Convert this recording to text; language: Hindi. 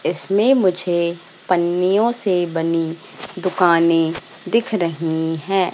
इसमें मुझे पन्नियों से बनी दुकानें दिख रहीं हैं।